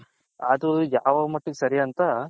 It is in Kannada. ಅದು ಯಾವ ಮಟ್ಟಿಗೆ ಸರಿ ಅಂತ.